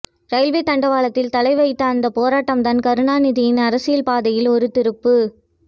railway தண்டவாளத்தில் தலை வைத்த அந்த போராட்டம்தான் கருணாநிதியின் அரசியல் பாதையில் ஒரு திருப்பு